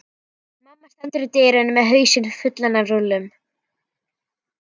Mamma stendur í dyrunum með hausinn fullan af rúllum.